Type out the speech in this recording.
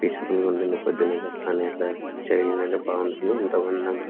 Peaceful గా ఉంటుంది. పొద్దున్న లేస్తూనే అట్లా చేయంగానే బాగుంటుంది. ఏంటో అందంగా--